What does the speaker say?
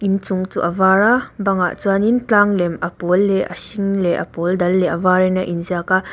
in chung chu a var a bang ah chuanin tlang lem a pawl leh a hring leh a pawl dal leh a var in a in ziak a.